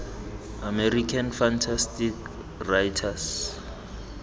american fantasy writers